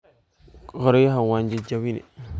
Koryaxa wan jajabini.